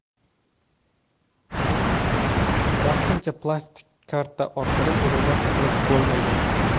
Vaqtincha plastik karta orqali to‘lovlar qilib bo‘lmaydi.